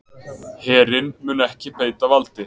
Herinn mun ekki beita valdi